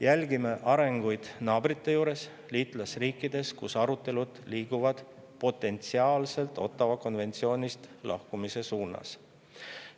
Jälgime arenguid naabrite juures, liitlasriikides, kus arutelud liiguvad potentsiaalselt Ottawa konventsioonist lahkumise suunas.